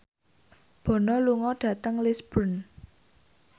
Bono lunga dhateng Lisburn